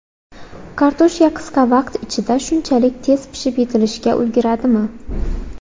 Kartoshka qisqa vaqt ichida shunchalik tez pishib yetilishga ulguradimi?